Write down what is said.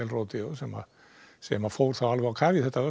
sem sem fór alveg á kaf í þetta